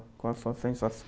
Qual a sua